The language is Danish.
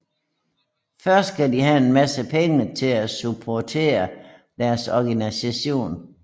Først skal de have en masse penge til at supportere deres organisation